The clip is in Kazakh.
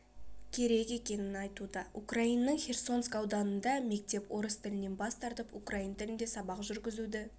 керек екенін айтуда украинаның херсонск ауданында мектеп орыс тілінен бас тартып украин тілінде сабақ жүргізуді